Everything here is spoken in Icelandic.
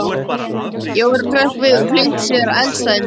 Jóra hrökk við og flýtti sér að eldstæðinu.